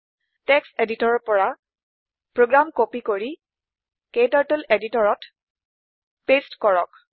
text এডিটৰত ৰ পৰা প্ৰোগ্ৰাম কপি কৰি ক্টাৰ্টল এডিটৰতত পেচ্ট কৰক